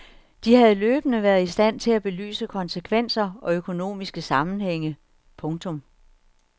De havde løbende været i stand til at belyse konsekvenser og økonomiske sammenhænge. punktum